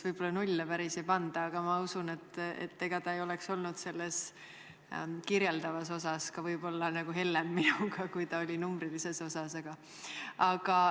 Võib-olla nulle koolis päris ei panda, aga ma usun, et ega ta ei oleks olnud kirjeldava hindamisega ka võib-olla hellem minu vastu, kui ta oli numbrilise hindamisega.